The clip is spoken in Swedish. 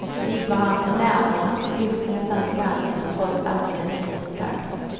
De gick varann på nerverna, slogs nästan ibland men fick trots allt mänsklig kontakt.